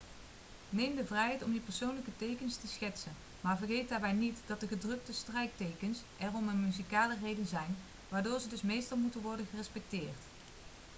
neem de vrijheid om je persoonlijke tekens te schetsen maar vergeet daarbij niet dat de gedrukte strijktekens er om een muzikale reden zijn waardoor ze dus meestal moeten worden gerespecteerd